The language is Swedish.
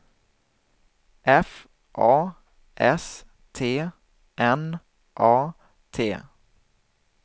F A S T N A T